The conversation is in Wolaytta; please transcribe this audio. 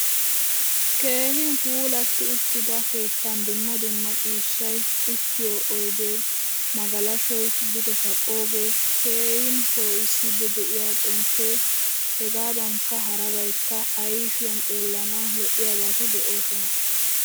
Keehin puulatti uttida keettan dumma dumma ciishshay, uttiyo oyde, magalashoy duge kaqqoge, keehin poisidi deiya xomppe hegadanka harabaykka ayfiyan xeelanawu loiyabatti deosona.